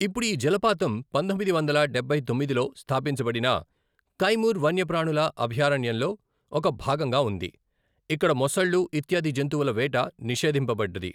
ఇప్పుడు ఈ జలపాతం పంతొమ్మిది వందల డబ్బై తొమ్మిదిలో స్థాపించబడిన కైమూర్ వన్యప్రాణుల అభయారణ్యంలో ఒక భాగంగా ఉంది, ఇక్కడ మొసళ్ళు ఇత్యాది జంతువుల వేట నిషేధింపబడ్డది.